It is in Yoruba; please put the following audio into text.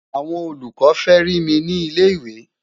àwọn olùkọ fẹ rí mí ní ilẹ ìwé